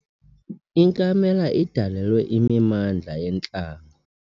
Inkamela idalelwe imimandla yentlango.